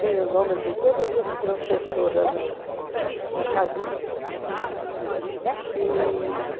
Tem o nome de todas as professoras na na cabeça.